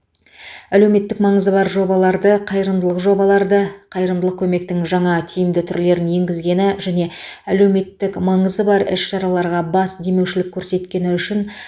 әлеуметтік маңызы бар жобаларды қайырымдылық жобаларды қайырымдылық көмектің жаңа тиімді түрлерін енгізгені және әлеуметтік маңызы бар іс шараларға бас демеушілік көрсеткені үшін